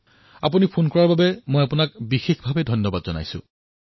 মই আপোনাৰ ফোনৰ বাবে বিশেষ ৰূপত আপোনাক ধন্যবাদ প্ৰদান কৰিছোঁ